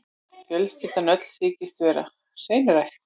Fjölskyldan öll þykist vera hreinræktuð.